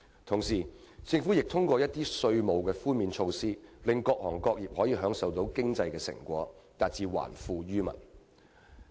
同時，政府亦通過一些稅務寬免措施，令各行各業分享經濟成果，達致還富於民的目的。